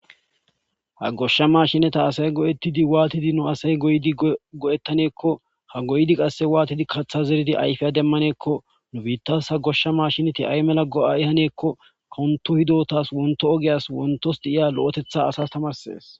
Ha goshsha mashinata asay go'ettidi waatidi no asay goydi go'ettaneekko ha goydi qasse waatidi kaththa zeridi ayfeya demmaneekko nu biittas ha goshsha mashinati ay mela go'ay haneekko konto hidotas wonto ogeyas wontos diiya lo'etetha asas tamarsees